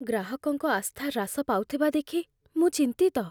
ଗ୍ରାହକଙ୍କ ଆସ୍ଥା ହ୍ରାସ ପାଉଥିବା ଦେଖି ମୁଁ ଚିନ୍ତିତ।